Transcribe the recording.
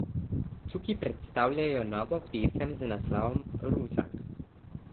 Čuki predstavljajo novo pesem z naslovom Ruzak.